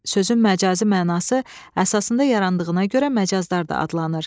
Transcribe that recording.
Sözün məcazi mənası əsasında yarandığına görə məcaz da adlanır.